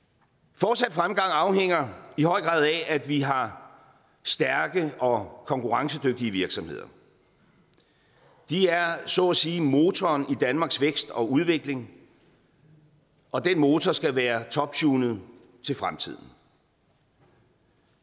fortsat fremgang afhænger i høj grad af at vi har stærke og konkurrencedygtige virksomheder de er så at sige motoren i danmarks vækst og udvikling og den motor skal være toptunet til fremtiden